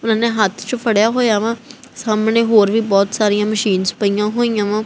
ਉਹਨਾਂ ਨੇ ਹੱਥ ਚ ਫੜਿਆ ਹੋਇਆ ਵਾ ਸਾਹਮਣੇ ਹੋਰ ਵੀ ਬਹੁਤ ਸਾਰੀ ਮਸ਼ੀਨਸ ਪਈਆਂ ਹੋਈਆਂ ਵਾਂ।